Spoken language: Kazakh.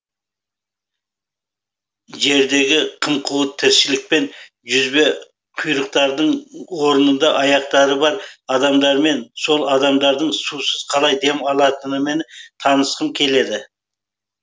жердегі қым қуыт тіршілікпен жүзбе құйрықтардың орнында аяқтары бар адамдармен сол адамдардың сусыз қалай дем алатынымен танысқым келеді